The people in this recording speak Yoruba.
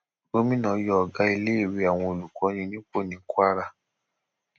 gomina yọ ọgá iléèwé àwọn olùkọni nípò ní kwara